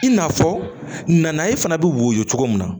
I n'a fɔ nanaye fana bɛ woyɔ cogo min na